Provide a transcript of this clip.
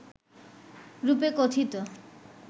রূপে কথিত